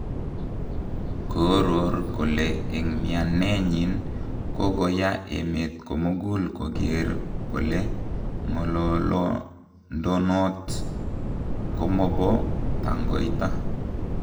Kooror kole en mianeyin kogoya emet komugul kogeer kole ngolondonot komubo tangoita.